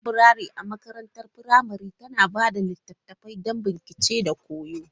Laburare a makarantar firamare tana ba da littattafai don bincike da koyo.